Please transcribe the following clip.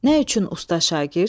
Nə üçün Usta şagird?